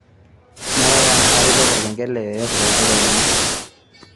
ngurai tenaa katipika olkengele yoyote letedekenya